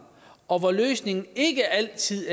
og løsningen er ikke altid